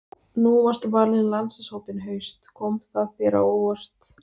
Nú varstu valinn í landsliðshópinn í haust, kom það þér á óvart?